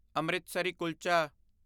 Amritsar kulcha